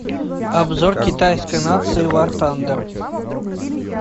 обзор китайской нации вар тандер